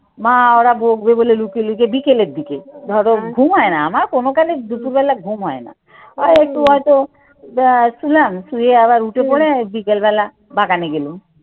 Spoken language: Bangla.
মা ওরা বকবে বলে লুকিয়ে লুকিয়ে বিকেলের দিকে ধরো ঘুমায় না আমার কোনকালে দুপুরবেলা ঘুম হয় না। আর একটু হয়তো আহ শুনলাম শুয়ে আবার উঠে পড়ে বিকেলবেলা বাগানে গেলাম।